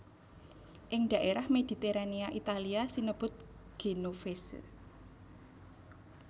Ing dhaérah Mediterania Italia sinebut genovese